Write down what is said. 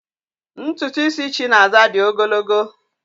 Ntụtụ isi Chinaza dị ogologo